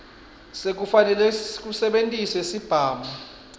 sekufaneleka kusebentisa sibhamu